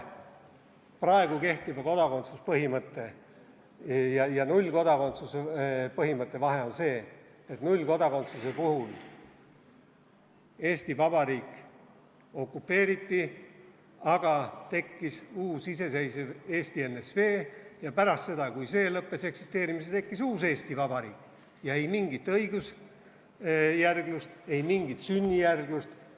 Praegu kehtiva kodakondsuspõhimõtte ja nullkodakondsuspõhimõtte vahe on see, et nullkodakondsuse puhul Eesti Vabariik okupeeriti, aga tekkis uus iseseisev Eesti NSV ja pärast seda, kui see lõpetas eksisteerimise, tekkis uus Eesti Vabariik, ja ei mingit õigusjärgsust, ei mingit sünnijärgsust.